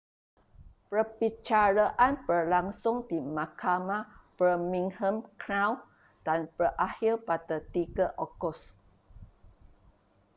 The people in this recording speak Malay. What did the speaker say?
perbicaraan berlangsung di mahkamah birmingham crown dan berakhir pada 3 ogos